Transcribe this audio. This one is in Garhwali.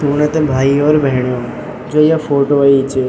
सुणा त भाई और भेणो जो या फोटो अयीं च --